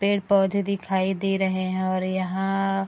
पेड़-पौधे दिखाई दे रहें हैं और यहाँ --